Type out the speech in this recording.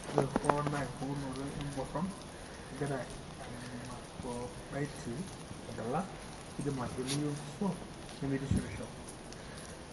Ore hoo naa empukunoto emboron, kegira emacrodactyly agila, keidim ataliooyu enkuso nemeitishipisho.